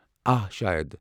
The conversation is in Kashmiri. آ، شاید۔